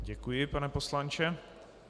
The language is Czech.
Děkuji, pane poslanče.